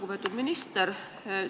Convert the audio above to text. Lugupeetud minister!